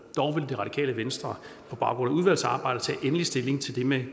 dog vil det radikale venstre på baggrund af udvalgsarbejdet tage endelig stilling til det med